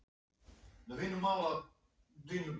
Já, já, nú verður allt gott, Kalli minn.